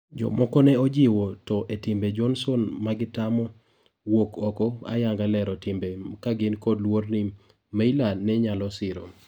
Jomoko ne ojiwo to etimbe Johnson magitamo wuok oko ayanga lero timbe kagin kod luor ni Meyler ne nyalo siro